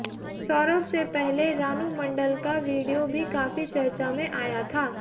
सौरव से पहले रानू मंडल का वीडियो भी काफी चर्चा में आया था